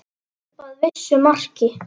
Upp að vissu marki.